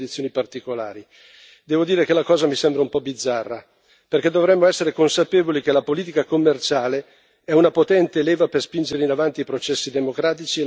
Devo dire che la cosa mi sembra un po' bizzarra, perché dovremmo essere consapevoli che la politica commerciale è una potente leva per spingere in avanti i processi democratici e l'allargamento dei diritti.